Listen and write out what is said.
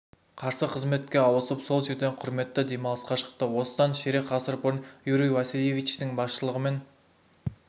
қарсы қызметке ауысып сол жерден құрметті демалысқа шықты осыдан ширек ғасыр бұрын юрий васильевичтің басшылығымен